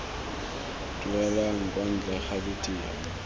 duelang kwa ntle ga tiro